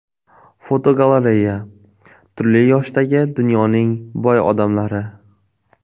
Fotogalereya: Turli yoshdagi dunyoning boy odamlari.